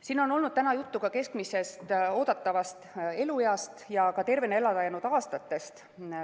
Siin on olnud täna juttu ka keskmisest oodatavast elueast ja tervena elada jäänud aastatest.